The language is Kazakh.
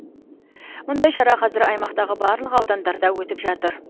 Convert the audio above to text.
мұндай шара қазір аймақтағы барлық аудандарда өтіп жатыр